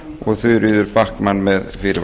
og þuríður backman með fyrirvara